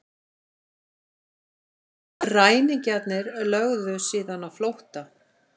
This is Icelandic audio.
Ræningjarnir lögðu síðan á flótta